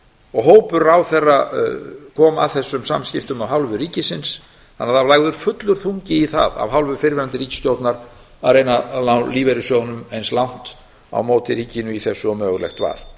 og hópur ráðherra kom að þessum samskiptum af hálfu ríkisins þannig að það var lagður fullur þungi í það af hálfu fyrrverandi ríkisstjórnar að reyna að ná lífeyrissjóðunum eins langt á móti ríkinu í þessu og mögulegt var